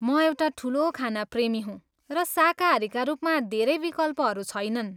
म एउटा ठुलो खाना प्रेमी हुँ र शाकाहारीका रूपमा धेरै विकल्पहरू छैनन्।